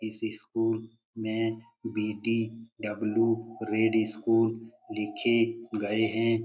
इस स्कूल में BDW. Red school लिखे गए हैं।